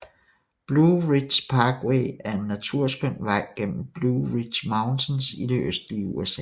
Blue Ridge Parkway er en naturskøn vej gennem Blue Ridge Mountains i det østlige USA